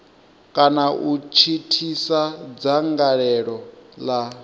kana u thithisa dzangalelo la